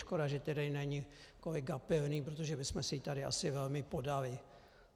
Škoda, že tady není kolega Pilný, protože bychom si ji tady asi velmi podali.